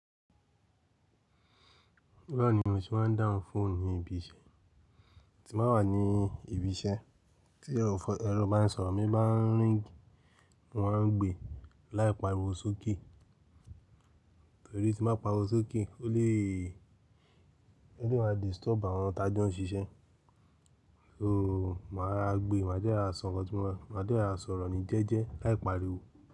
Bẹ́ẹ̀ni mo ti máa ń dáhùn fóònù ní ibi iṣẹ́, tí màá wà ní ibi iṣẹ́ tí ẹrù bá ń sọ̀rọ̀, mi bá ń rìn wọ́n á ń gbe láì pariwo sókè torí tí mo bá pariwo sókè ó lè, ó lè máa disturb àwọn tajọ n ṣiṣẹ́. So màá rora gbe, màá dẹ rọra sọrọ, màá dẹ́ rọrà sọ̀rọ̀ ní jẹ́ẹ́jẹ́ láì pariwo.